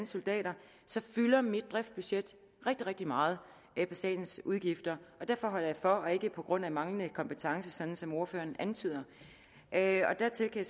soldater så fylder mit driftsbudget rigtig rigtig meget på statens udgifter og derfor holder jeg for og ikke på grund af manglende kompetence sådan som ordføreren antyder dertil kan